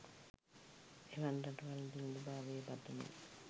එවන් රටවල් දිළිඳු භාවයේ පතුළේ